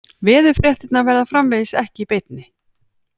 Veðurfréttirnar verða framvegis ekki í beinni